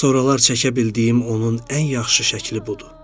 Soralar çəkə bildiyim onun ən yaxşı şəkli budur.